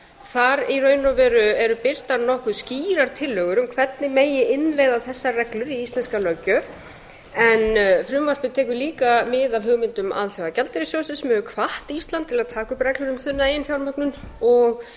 þar í raun og veru eru birtar nokkuð skýrar tillögur um hvernig megi innleiða þessar reglur í íslenska löggjöf en frumvarpið tekur líka mið af hugmyndum alþjóða gjaldeyrissjóðsins sem hefur hvatt ísland til að taka upp reglur um þunna eiginfjármögnun og